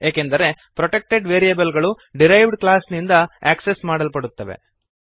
ಏಕೆಂದರೆ protected variable ಗಳು derived ಕ್ಲಾಸ್ನಿಂದ ಆಕ್ಸೆಸ್ ಮಾಡಲ್ಪಡುತ್ತವೆ